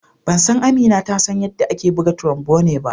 Ban san Amina ta san yarɗa ake buga trombone ba.